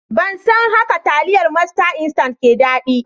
Ban san hauka taliyar masta instant ke da daɗi